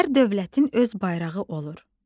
Hər dövlətin öz bayrağı olur.